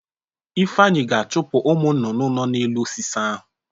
Ifeanyị ga-achụpụ ụmụ nnụnụ nọ n'elu osisi ahụ.